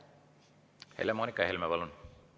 Helle-Moonika Helme, palun!